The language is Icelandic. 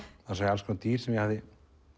alls konar dýr sem ég hafði